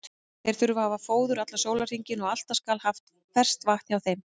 Þeir þurfa að hafa fóður allan sólarhringinn og alltaf skal haft ferskt vatn hjá þeim.